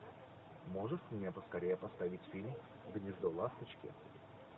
можешь мне поскорее поставить фильм гнездо ласточки